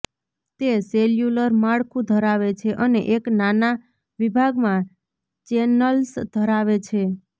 તે સેલ્યુલર માળખું ધરાવે છે અને એક નાના વિભાગમાં ચેનલ્સ ધરાવે છે